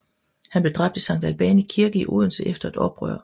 Han blev dræbt i Sankt Albani Kirke i Odense efter et oprør